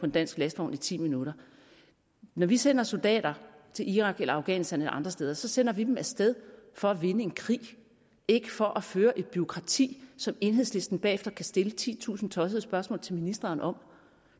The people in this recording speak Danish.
dansk lastvogn i ti minutter når vi sender soldater til irak eller afghanistan eller andre steder sender vi dem af sted for at vinde en krig ikke for at føre et bureaukrati som enhedslisten bagefter kan stille titusind tossede spørgsmål til ministeren om